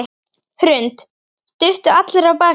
Hrund: Duttu allir af baki?